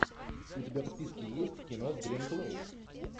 у тебя в списке есть кино с гленн клоуз